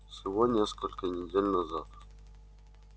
всего несколько недель назад